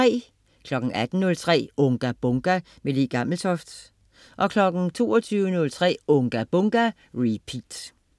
18.03 Unga Bunga! Le Gammeltoft 22.03 Unga Bunga! Repeat